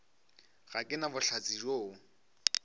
ga ke na bohlatse bjoo